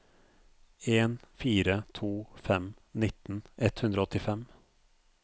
en fire to fem nitten ett hundre og åttifem